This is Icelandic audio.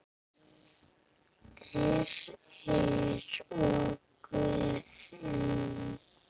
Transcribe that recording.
Þyri og Guðni.